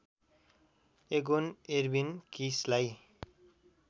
Aegon Erwin किसलाई